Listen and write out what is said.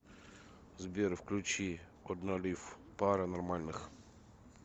сбер включи одналайф пара нормальных